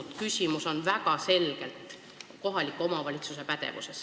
See küsimus on väga selgelt kohaliku omavalitsuse pädevuses.